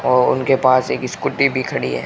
और उनके पास एक स्कूटी भी खड़ी है।